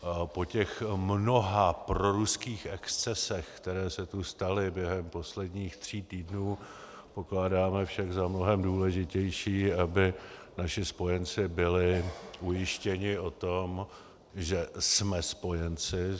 Po těch mnoha proruských excesech, které se tu staly během posledních tří týdnů, pokládáme však za mnohem důležitější, aby naši spojenci byli ujištěni o tom, že jsme spojenci.